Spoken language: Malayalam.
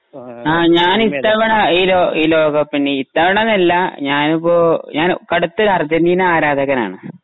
ആ ഞാൻ ഇത്തവണ ഈ ലോ ലോക ലോകകപ്പിൽ ഇത്തവണന്നല്ല ഞാനിപ്പോ ഞാൻ കൊടുത്തൊരു അർജന്റീന ആരാധകനാണ്